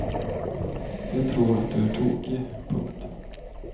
De tror att du är tokig. punkt